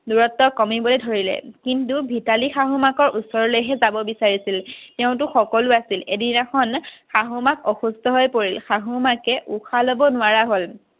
দুৰত্ব কমিব ধৰিলে কিন্তু ভিতালীৰ শাহু মাকৰ ওচৰলৈহে যাব বিছাৰিছিল। তেওঁতো সকলো আছিল এদিনাখন শাহু মাক অসুস্থ হৈ পৰিল। শাহু মাকে উশাহ লব নোৱাৰা হ'ল